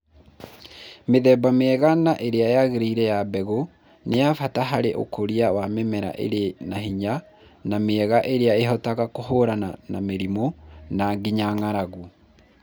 Mĩthemba mĩega na ĩrĩa yagĩrĩire ya mbegũ nĩ ya bata harĩ ũkũria wa mĩmera ĩrĩ na hinya na mĩega irĩa ĩhotaga kũhũrana na mĩrimũ na nginya ng’aragu.